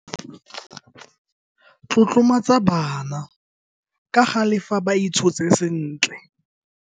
Tlotlomatsa bana kagale fa ba itshotse sentle.